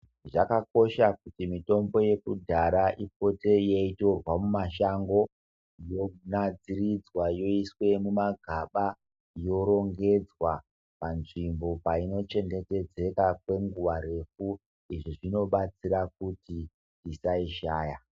Zvakakosha kuti mitombo yekudhara ipote eitorwa mumashango, yonatsirirwa yoiswe mumagaba, yorengedzwa panzvimbo paino chengetedzeka kwenguva refu, izvi zvinobatsira kuti tisaishaya.